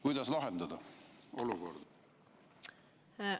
Kuidas see olukord lahendada?